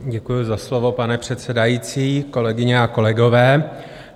Děkuji za slovo, pane předsedající, kolegyně a kolegové.